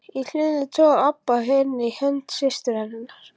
Í hliðinu togaði Abba hin í hönd systur sinnar.